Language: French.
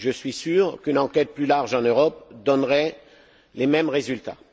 Je suis sûr qu'une enquête plus large en Europe donnerait les mêmes résultats.